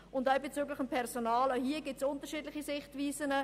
Auch in Bezug auf das Personal gibt es verschiedene Sichtweisen: